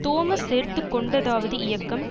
Thomas சேர்த்து கொண்டதாவது இயக்கம்